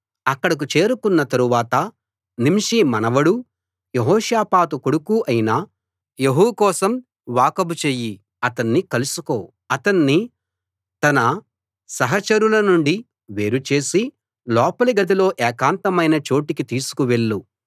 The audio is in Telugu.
అక్కడకు చేరుకున్న తరువాత నింషీ మనవడూ యెహోషాపాతు కొడుకూ అయిన యెహూ కోసం వాకబు చెయ్యి అతణ్ణి కలుసుకో అతణ్ణి తన సహచరులనుండి వేరు చేసి లోపలి గదిలో ఏకాంతమైన చోటికి తీసుకు వెళ్ళు